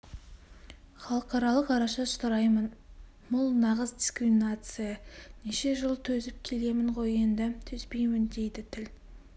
халықаралық араша сұраймын мұл нағыз дискриминация неше жыл төзіп келемін ғой енді төзбеймін дейді тіл